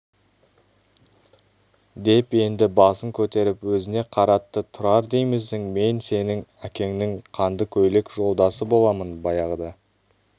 деп енді баланың басын көтеріп өзіне қаратты тұрар деймісің мен сенің әкеңнің қандыкөйлек жолдасы боламын баяғыда